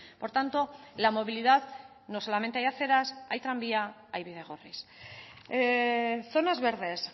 por tanto la movilidad no solamente hay aceras hay tranvía hay bidegorris zonas verdes